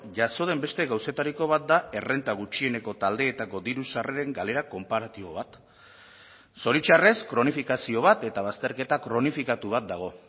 jaso den beste gauzetariko bat da errenta gutxieneko taldeetako diru sarreren galera konparatibo bat zoritxarrez kronifikazio bat eta bazterketa kronifikatu bat dago